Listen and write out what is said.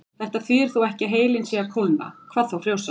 Þetta þýðir þó ekki að heilinn sé að kólna, hvað þá frjósa.